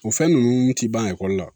O fɛn ninnu ti ban ekɔli la